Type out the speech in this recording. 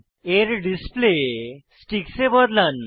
এর display sticks এ বদলান